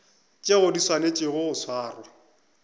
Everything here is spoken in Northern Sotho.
tšeo di swanetšego go swarwa